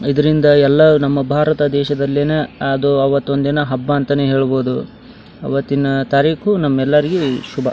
ಇದರಿಂದ ಎಲ್ಲ ನಮ್ಮ ಭಾರತ ದೇಶದಲ್ಲಿ ಅದು ಅವತ್ತೊಂದಿನ ಹಬ್ಬ ಅಂತಾನೆ ಹೇಳ್ಬಹುದು ಅವತ್ತಿನ ತಾರೀಕು ನಮ್ಮೆಲ್ಲರಿಗೂ ಶುಭ .